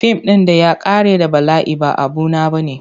Fim ɗin da ya ƙare da bala'i ba abu na bane.